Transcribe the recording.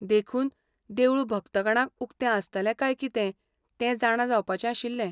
देखून, देवूळ भक्तगणांक उक्तें आसतलें काय कितें तें जाणा जावपाचें आशिल्लें.